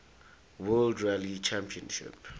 world rally championship